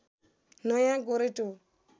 नयाँ गोरेटो